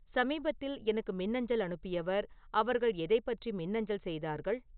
சமீபத்தில் எனக்கு மின்னஞ்சல் அனுப்பியவர், அவர்கள் எதைப் பற்றி மின்னஞ்சல் செய்தார்கள்